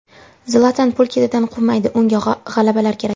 Zlatan pul ketidan quvmaydi, unga g‘alabalar kerak.